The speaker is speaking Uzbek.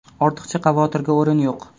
Ortiqcha xavotirga o‘rin yo‘q.